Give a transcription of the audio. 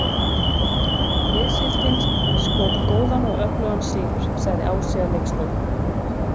Liðsheildin skóp góðan og öflugan sigur, sagði Ási að leikslokum.